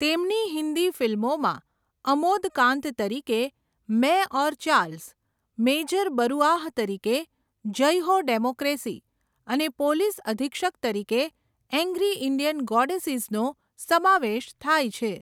તેમની હિન્દી ફિલ્મોમાં અમોદ કાંત તરીકે 'મૈં ઔર ચાર્લ્સ', મેજર બરુઆહ તરીકે 'જય હો ડેમોક્રેસી' અને પોલીસ અધિક્ષક તરીકે 'એંગ્રી ઇંડિયન ગોડેસીઝ' નો સમાવેશ થાય છે.